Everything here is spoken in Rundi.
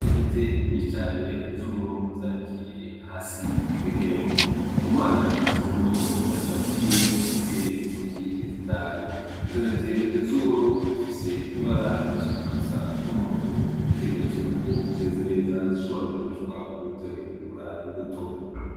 Intete nyinshi cane z'uburo zanikiye hasi kw'ihema. NDIKUMANA yashizemwo ikiganza ciwe zifise intoke zitanu, izo ntete z'uburo zifise ibara zishaka gusa n'umuhondo nikimenyetso yuko ko zimeze neza zishobora gukoreshwa mu gutegura imbuto.